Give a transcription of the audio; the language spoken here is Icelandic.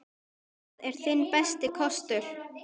Það er þinn besti kostur.